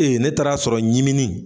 Ee ne taar'a sɔrɔ ɲiminin